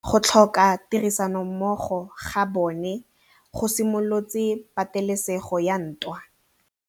Go tlhoka tirsanommogo ga bone go simolotse patêlêsêgô ya ntwa.